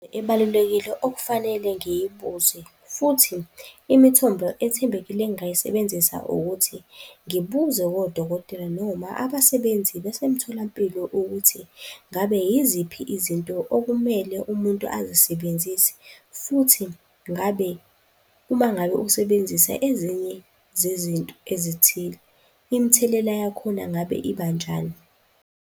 Ebalulekile okufanele ngiyibuze futhi imithombo ethembekile engingayisebenzisa ukuthi, ngibuze kodokotela noma abasebenzi basemtholampilo ukuthi, ngabe yiziphi izinto okumele umuntu azisebenzise futhi ngabe, uma ngabe usebenzisa ezinye zezinto ezithile imithelela yakhona ngabe ibanjani?